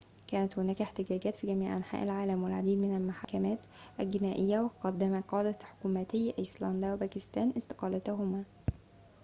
كانت هناك احتجاجات في جميع أنحاء العالم والعديد من المحاكمات الجنائية وقدم قادة حكومتي آيسلندا وباكستان استقالاتهم